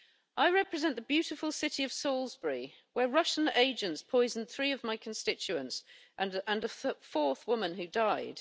I represent the beautiful city of Salisbury, where Russian agents poisoned three of my constituents and a fourth woman, who died.